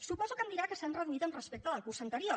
suposo que em deurà dir que s’han reduït respecte del curs anterior